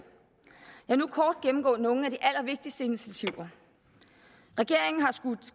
jeg vil nu kort gennemgå nogle af de allervigtigste initiativer regeringen har skudt